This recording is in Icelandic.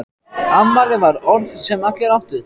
Afmæli var orð sem allir áttu.